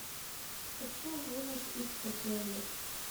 хочу в имус из сапеле